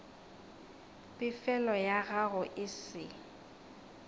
pefelo ya gago e se